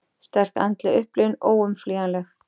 Sterk andleg upplifun óumflýjanleg